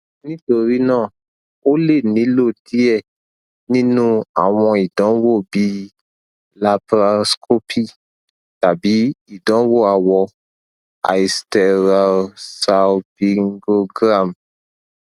nitorinaa o le nilo diẹ ninu awọn idanwo bii laproscopy ati idanwo awọ hysterosalpingogram